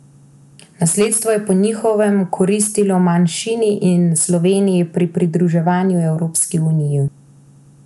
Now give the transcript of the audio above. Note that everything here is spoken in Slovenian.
Nasledstvo je po njihovem koristilo manjšini in Sloveniji pri pridruževanju Evropski uniji.